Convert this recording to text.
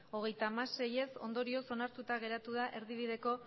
hogeita hamasei ondorioz onartuta geratu da erdibideko